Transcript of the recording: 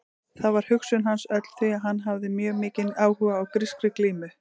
Þar var hugsun hans öll því að hann hafði mjög mikinn áhuga á grískri glímu.